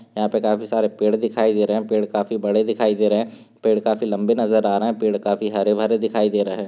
यहाँ पे काफी सारे पेड़ दिखाई दे रहे है पेड़ काफी बड़े दिखाई दे रहे है पेड़ काफी लंबे नज़र आ रहा है पेड़ काफी हरे भरे दिखाई दे रहे हैं।